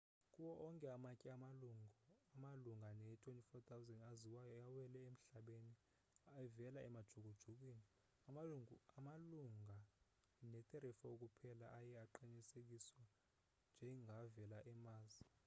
kuwo onke amatye amalunga ne-24,000 aziwayo awele emhlabeni evela emajukujukwini amalunga ne-34 kuphela aye aqinisekiswe njengavela e-mars